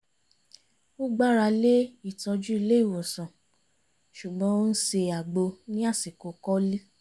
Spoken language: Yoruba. ó gbára lé ìtọ́jú ilé ìwòsàn ṣùgbọ́n ó ń ṣe àgbo ní àsìkò kọ́lí